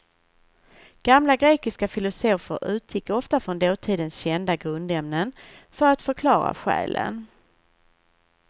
Gamla grekiska filosofer utgick ofta från dåtidens kända grundämnen för att förklara själen.